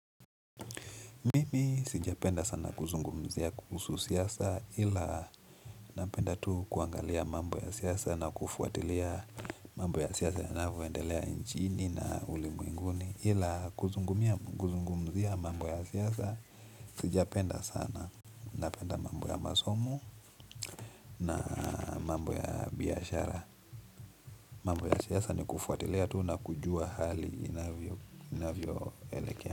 Mimi sijapenda sana kuzungumzia kuhusu siasa ila napenda tu kuangalia mambo ya siasa na kufuatilia mambo ya siasa yanavyoendelea inchini na ulimwenguni ila kuzungumzia mambo ya siasa sijapenda sana napenda mambo ya masomo na mambo ya biashara mambo ya siasa ni kufuatilia tu na kujua hali inavyoelekea.